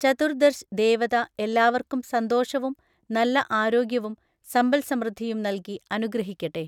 ചതുർദർശ് ദേവത എല്ലാവര്ക്കും സന്തോഷവും, നല്ല ആരോഗ്യവും, സമ്പല് സമൃദ്ധിയും നല്കി അനുഗ്രഹിക്കട്ടെ.